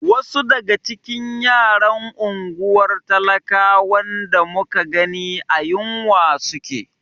Wasu daga cikin yaran unguwar talakawan da muka gani a yunwa suke.